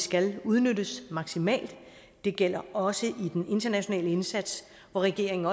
skal udnyttes maksimalt det gælder også i den internationale indsats hvor regeringen